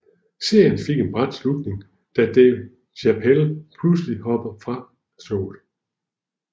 Serien fik en brat slutning da Dave Chapelle pludselig hoppede fra showet